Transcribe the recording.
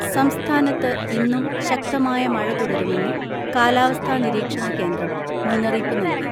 സംസ്ഥാനത്ത് ഇന്നും ശക്തമായ മഴ തുടരുമെന്ന് കാലാവസ്ഥാ നിരീക്ഷണ കേന്ദ്രം മുന്നറിയിപ്പ് നൽകി.